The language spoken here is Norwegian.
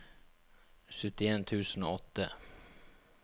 syttien tusen og åtte